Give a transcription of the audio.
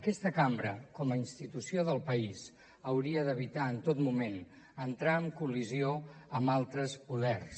aquesta cambra com a institució del país hauria d’evitar en tot moment entrar en col·lisió amb altres poders